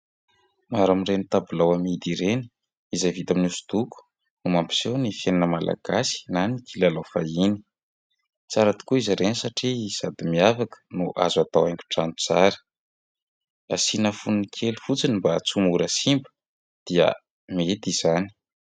Maro amin'ireny tabilao amidy ireny, izay vita amin'ny hosodoko no mampiseho ny fiainana malagasy na ny kilalao fahiny. Tsara tokoa izy ireny satria sady miavaka no azo atao haingo trano tsara. Asiana fonony kely fotsiny mba tsy ho mora simba dia mety izany.